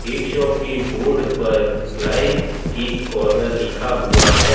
एक शाप के बोर्ड पर लाइव केक कॉर्नर लिखा हुआ है।